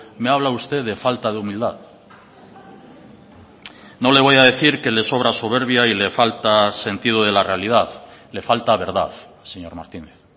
me habla usted de falta de humildad no le voy a decir que le sobra soberbia y le falta sentido de la realidad le falta verdad señor martínez